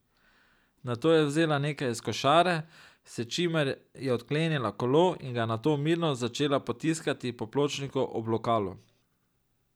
Nato je vzela nekaj iz košare, s čimer je odklenila kolo in ga nato mirno začela potiskati po pločniku ob lokalu.